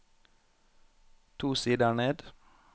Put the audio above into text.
To sider ned